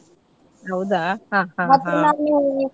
ಹೌದಾ ಹಾ ಹಾ ಹಾ .